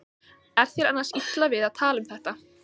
Er þér annars illa við að tala um þetta?